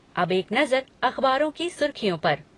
अब एक नजर अखबारों की सुर्खियों पर